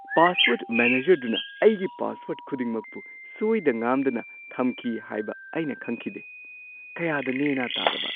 Password ꯃꯦꯅꯦꯖꯔꯗꯨꯅ ꯑꯩꯒꯤ ꯄꯥꯁꯋꯔ꯭ꯗ ꯈꯨꯗꯤꯡꯃꯛꯄꯨ ꯁꯣꯏꯗ ꯉꯥꯝꯗꯅ ꯊꯝꯈꯤ ꯍꯥꯏꯕ ꯑꯩꯅ ꯈꯪꯈꯤꯗꯦ꯫ ꯀꯌꯥꯗ ꯅꯦ-ꯅꯥ ꯇꯥꯔꯕ!